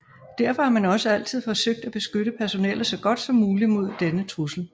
Derfor har man også altid forsøgt at beskytte personellet så godt som muligt imod denne trussel